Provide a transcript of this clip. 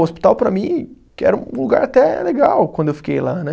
O hospital, para mim, que era um um lugar até legal quando eu fiquei lá, né?